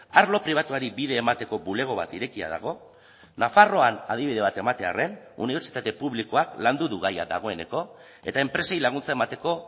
arlo pribatuari bide emateko bulego bat irekia dago nafarroan adibide bat ematearren unibertsitate publikoak landu du gaia dagoeneko eta enpresei laguntza emateko